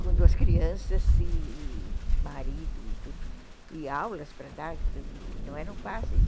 com duas crianças e e marido e tudo, e aulas para dar, que não eram fáceis.